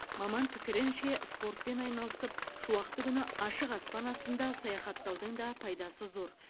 маман пікірінше спортпен айналысып шуақты күні асық ашпан астында саяхаттаудың да пайдасы зор